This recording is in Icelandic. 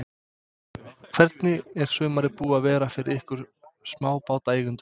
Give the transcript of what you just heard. Hvernig er sumarið búið að vera fyrir ykkur smábátaeigendur?